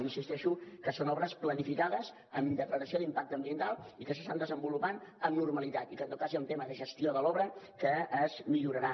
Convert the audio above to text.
i insisteixo que són obres planificades amb declaració d’impacte ambiental i que s’estan desenvolupant amb normalitat i que en tot cas hi ha un tema de gestió de l’obra que es millorarà